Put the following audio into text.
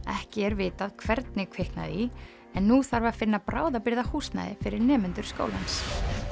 ekki er vitað hvernig kviknaði í nú þarf að finna bráðabirgðahúsnæði fyrir nemendur skólans